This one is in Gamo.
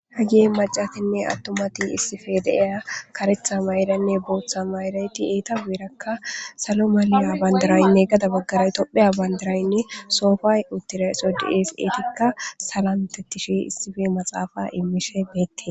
Hagie macatinne attomati issife deeya karetha mayiranne booththa mayirayti eeta beerakka salo maliya bandarayinne gada baggaray topheya bandaraynne soofay uttira sodies eetikka salantettishi issife maxaafa immishe beette.